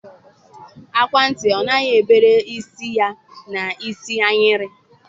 Agwa ntị ọ nụghị, ebere isi, ya na isi ayịrị.